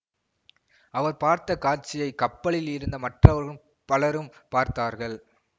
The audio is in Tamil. அவர் பார்த்த காட்சியை கப்பலில் இருந்த மற்றவரும் பலரும் பார்த்தார்கள்